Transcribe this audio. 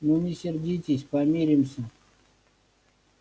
ну не сердись помиримся